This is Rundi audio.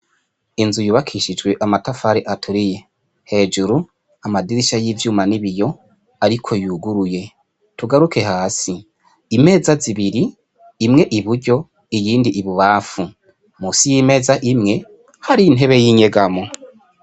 Inzu yubakishijwe amatafari aturiye, hejuru amadirisha y'ivyuma n'ibiyo ariko yuguruye, tugaruke hasi, imeza zibiri imwe iburyo iyindi ibubanfu, musi y'imeza imwe hariyo intebe y'inyegamwo.